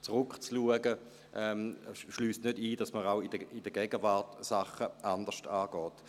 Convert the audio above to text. Es schliesst nicht aus, dass man auch in der Gegenwart Sachen anders angeht.